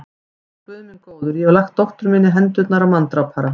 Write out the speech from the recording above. Ó, Guð minn góður, ég hef lagt dóttur mína í hendurnar á manndrápara.